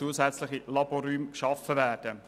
Zusätzliche Laborräume sollten geschaffen werden.